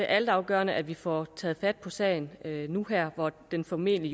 altafgørende at vi får taget fat på sagen nu og her hvor den formentlig